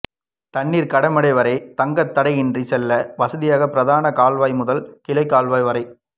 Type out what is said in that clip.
தண்ணீர் கடைமடை வரை தங்குதடையின்றி செல்ல வசதியாக பிரதான கால்வாய் முதல் கிளை கால்வாய் வரை